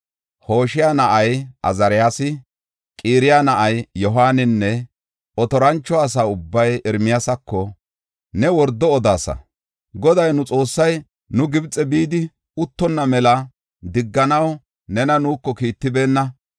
Hoshaya na7ay Azaariyasi, Qaraya na7ay Yohaaninne otorancho asa ubbay Ermiyaasako, “Ne wordo odaasa! Goday nu Xoossay nu Gibxe bidi uttonna mela digganaw nena nuuko kiittibeenna.